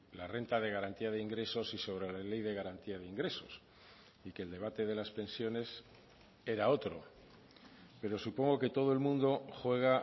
la renta de garantía de ingresos y sobre la ley de garantía de ingresos y que el debate de las pensiones era otro pero supongo que todo el mundo juega